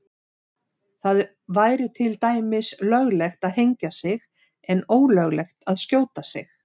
Það væri til dæmis löglegt að hengja sig en ólöglegt að skjóta sig.